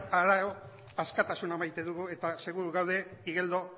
harago askatasuna maite dugu eta seguru gaude igeldo